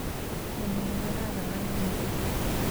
Ityeni negararan Halima